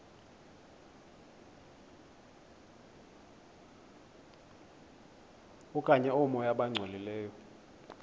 okanye oomoya abangcolileyo